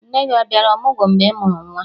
Nne gị a bịara ọmụgwọ mgbe ị mụrụ nwa?